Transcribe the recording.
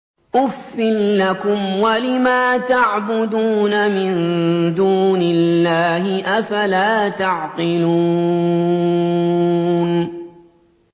أُفٍّ لَّكُمْ وَلِمَا تَعْبُدُونَ مِن دُونِ اللَّهِ ۖ أَفَلَا تَعْقِلُونَ